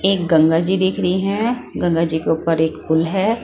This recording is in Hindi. एक गंगा जी दिख रही हैं गंगा जी के ऊपर एक पुल है।